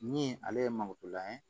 Min ale ye malotula ye